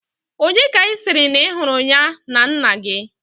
Onye ka i siri na ihuru ya na nna gi?